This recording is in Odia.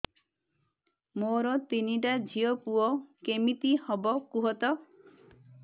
ମୋର ତିନିଟା ଝିଅ ପୁଅ କେମିତି ହବ କୁହତ